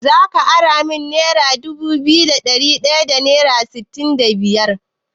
Zaka ara min nera dubu biyu da ɗari ɗaya da sittin da biyar?